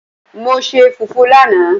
Mo se fufu lanaa